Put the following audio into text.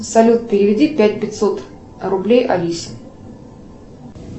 салют переведи пять пятьсот рублей алисе